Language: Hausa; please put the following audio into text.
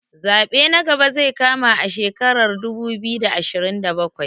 Zaɓe na gaba zai kama a shekarar dubu biyu da ashirin da bakwai